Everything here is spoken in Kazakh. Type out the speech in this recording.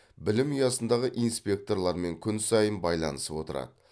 білім ұясындағы инспекторлармен күн сайын байланысып отырады